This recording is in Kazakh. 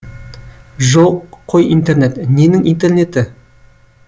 жоқ қой интернет ненің интернеті